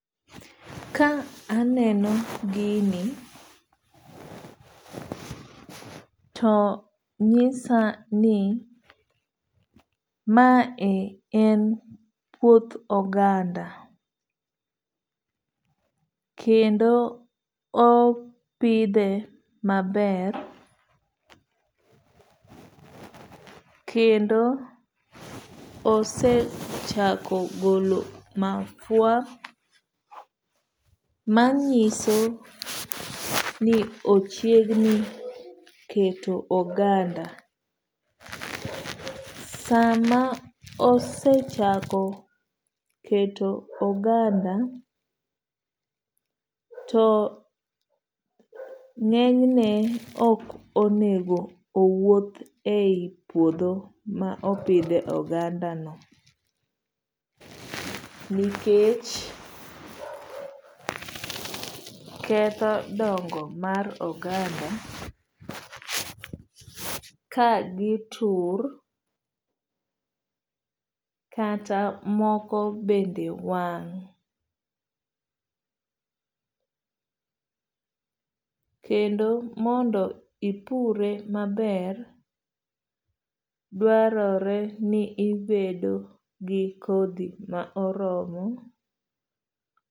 Ka aneno gini to nyisa ni mae en puoth oganda kendo opidhe maber. Kendo osechako golo mahua manyiso ni ochiegni keto oganda. Sama osechako keto oganda to ng'enyne ok onego owuoth e yi puodho ma opidhe oganda no nikech ketho dongo mar oganda ka gitur kata moko bende wang'. Kendo mondo ipure maber dwarore ni ibedo gi kodhi ma oromo.